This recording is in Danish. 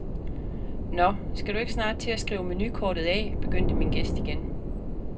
Nå, skal du ikke snart til at skrive menukortet af, begyndte min gæst igen.